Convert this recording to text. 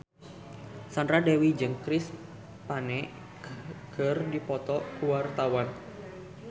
Sandra Dewi jeung Chris Pane keur dipoto ku wartawan